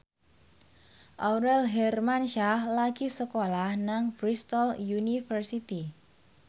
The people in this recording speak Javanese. Aurel Hermansyah lagi sekolah nang Bristol university